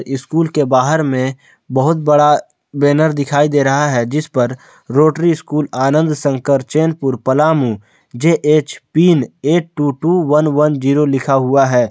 School के बाहर में बहुत बड़ा बैनर दिखाई दे रहा है जिस पर Rotary school Anand Sankarchan Purpalamu J H pin eight two two one one zero लिखा हुआ है।